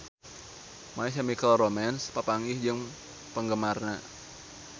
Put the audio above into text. My Chemical Romance papanggih jeung penggemarna